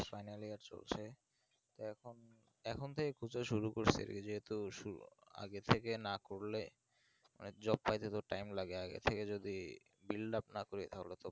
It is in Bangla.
final year চলছে এখন এখন তো একুশে শুরু করেছে যেহেতু আগে থেকে না করলে মানে job পাইতে তো ধরো time লাগে আগে থেকে যদি build up না করি তাহলে তো